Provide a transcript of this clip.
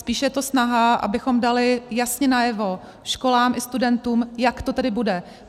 Spíš je to snaha, abychom dali jasně najevo školám i studentům, jak to tedy bude.